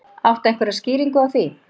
Áttu einhverja skýringu á því?